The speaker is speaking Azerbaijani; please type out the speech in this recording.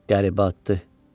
Qəribə addır.